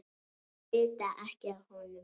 Þau vita ekki af honum.